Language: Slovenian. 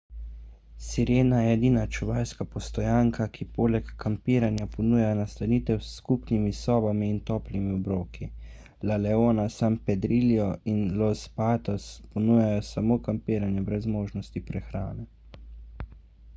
sirena je edina čuvajska postojanka ki poleg kampiranja ponuja nastanitev s skupnimi sobami in toplimi obroki la leona san pedrillo in los patos ponujajo samo kampiranje brez možnosti prehrane